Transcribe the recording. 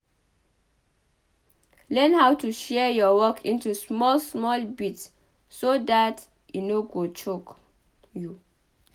learn how to share your work into small small bit so dat e no go choke you